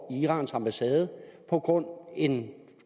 irans ambassade på grund af en